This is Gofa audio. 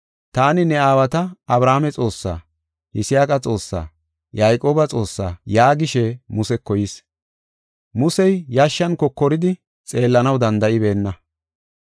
‘Taani ne aawata, Abrahaame Xoossaa, Yisaaqa Xoossaa, Yayqooba Xoossaa’ yaagishe Museko yis. Musey yashshan kokoridi xeellanaw danda7ibeenna.